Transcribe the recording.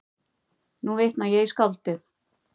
Nú vitna ég í skáldið